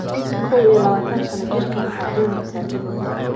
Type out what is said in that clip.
KOW IYO LABATAN -sano jirkaan waxaa dooneysa Liverpool.